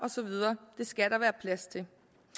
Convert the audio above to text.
det skal der være plads til